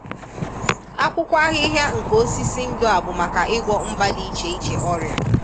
Akwụkwọ ahịhịa nke osisi ndụ a bụ maka ịgwọ mba dị iche iche ọrịa